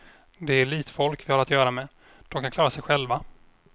Det är elitfolk vi har att göra med, dom kan klara sej själva.